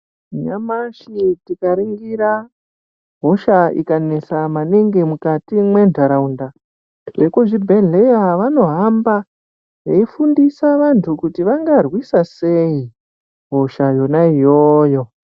Nyamashi tikaringira hosha ikanesa maningi mukati mwentaraunda, vekuzvibhedhleya vanohamba veifundisa vantu kuti vangarwisa sei hosha yona iyoyo.